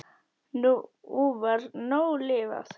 Nú var nóg lifað.